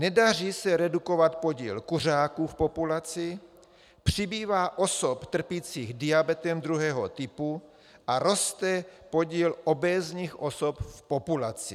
Nedaří se redukovat počet kuřáků v populaci, přibývá osob trpících diabetem druhého typu a roste počet obézních osob v populaci.